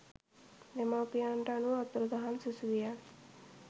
දෙමව්පියන්ට අනුව අතුරුදහන් සිසුවියන්